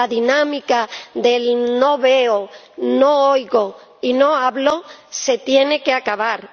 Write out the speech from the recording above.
La dinámica del no veo, no oigo y no hablo se tiene que acabar.